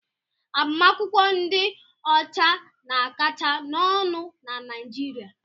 Agbamakwụkwọ ndị ọcha na-akacha n'ọnụ na Naịjirịa.